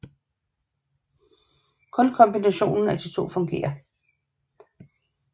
Kun kombinationen af de to fungerer